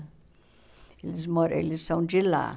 Eles moram... Eles são de lá.